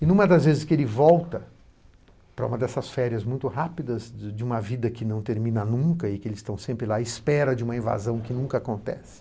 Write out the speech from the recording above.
E em uma das vezes que ele volta para uma dessas férias muito rápidas de uma vida que não termina nunca e que eles estão sempre lá, espera de uma invasão que nunca acontece,